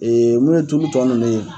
mun ye tulu tɔ ninnu ye